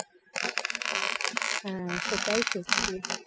হ্যাঁ সেটাই সত্যি